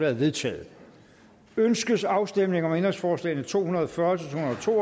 er vedtaget ønskes afstemning om ændringsforslag nummer to hundrede og fyrre